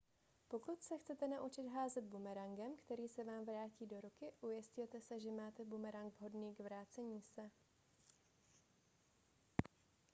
pokud se chcete naučit házet bumerangem který se vám vrátí do ruky ujistěte se že máte bumerang vhodný k vracení se